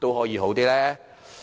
齒呢？